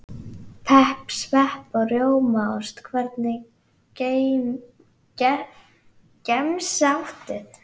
Pepp, svepp og rjómaost Hvernig gemsa áttu?